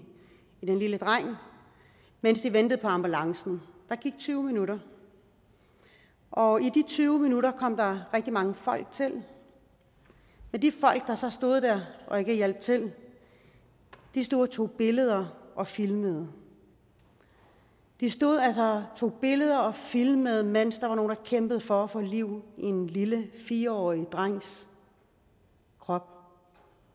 den lille dreng mens de ventede på ambulancen der gik tyve minutter og i de tyve minutter kom der rigtig mange folk til og de folk der så stod der og ikke hjalp til tog billeder og filmede de stod altså og tog billeder og filmede mens der var nogle der kæmpede for at få liv i en lille fire årig drengs krop og